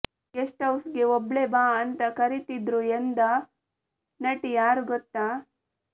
guest ಹೌಸ್ಗೆ ಒಬ್ಳೇ ಬಾ ಅಂತಾ ಕರೀತಿದ್ರು ಎಂದ ನಟಿ ಯಾರು ಗೊತ್ತಾ